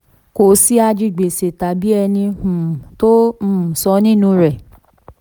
kò sí ajigbèsè tàbí ẹni um tó um san nínú rẹ̀.